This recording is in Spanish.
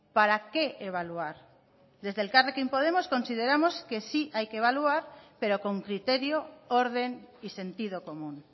para qué evaluar desde elkarrekin podemos consideramos que sí hay que evaluar pero con criterio orden y sentido común